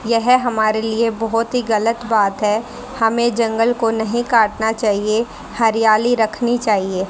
यह हमारे लिए बहोत ही गलत बात है हमें जंगल को नहीं काटना चाहिए हरियाली रखनी चाहिए।